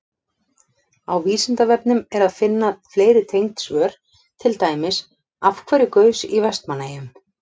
Á Vísindavefnum er að finna fleiri tengd svör, til dæmis: Af hverju gaus í Vestmannaeyjum?